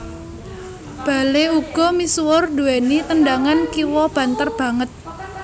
Bale uga misuwur duwèni tendangan kiwa banter banget